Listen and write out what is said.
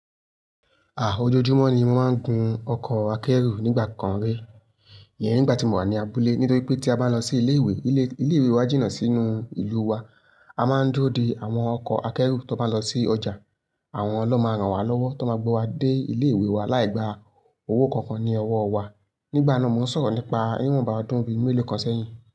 Ah, ojoojúmọ́ ni mo máa ń gun ọkọ̀ akẹ́rù nígbà kan rí. Iyẹn nígbà tí mo wà ní abúlé. Nítorí pé tí a bá lọ sí ilé ìwé, ilé ìwé wa jìnnà sínú ìlú wa. A máa ń duro de àwọn ọkọ̀ akẹ́rù tó bá lọ sí ọjà. Àwọn lọ́ máa rán wa lọ́wọ́ tó máa gbé wa dé ilé ìwé wa láì gba owó kankan ní ọwọ́ wa. Nígbà náà mo ń sọ̀rọ̀ nípa niwon báa odún bí i mélòó kan sẹ́yìn.